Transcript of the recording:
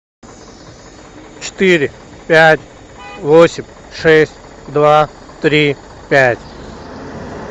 четыре пять восемь шесть два три пять